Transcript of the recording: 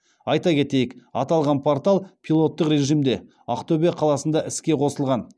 айта кетейік аталған портал пилоттық режимде ақтөбе қаласында іске қосылған